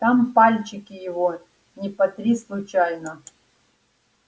там пальчики его не потри случайно